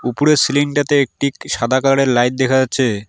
উপরে সিলিং -টাতে একটি সাদা কালার -এর লাইট দেখা যাচ্ছে।